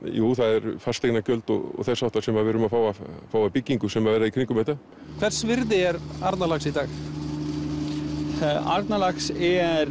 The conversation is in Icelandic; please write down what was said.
jú það eru fasteignagjöld og þess háttar sem við erum að fá að fá að byggingu sem verður í kringum þetta hvers virði er Arnarlax í dag Arnarlax er